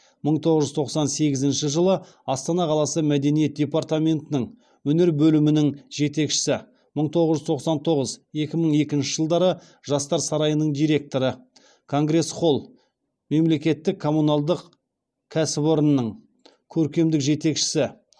мың тоғыз жүз тоқсан сегізінші жылы астана қаласы мәдениет департаментінің өнер бөлімінің жетекшісі мың тоғыз жүз тоқсан тоғыз екі мың екінші жылдары жастар сарайының директоры конгресс холл мемлекеттік комуналдық кәсіпорынның көркемдік жетекшісі